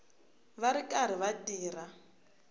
va ri karhi va tirha